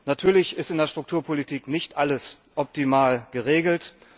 Natürlich ist in der Strukturpolitik nicht alles optimal geregelt.